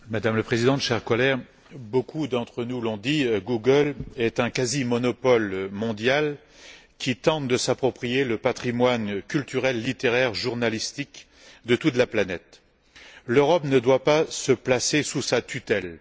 Madame la Présidente, chers collègues, beaucoup d'entre nous l'ont dit, Google est un quasi monopole mondial qui tente de s'approprier le patrimoine culturel, littéraire et journalistique de toute la planète. L'Europe ne doit pas se placer sous sa tutelle.